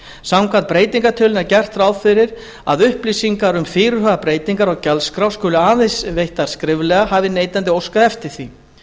samkvæmt breytingartillögunni er gert ráð fyrir því að upplýsingar um fyrirhugaðar breytingar á gjaldskrá skuli aðeins veittar skriflega hafi neytandi óskað eftir því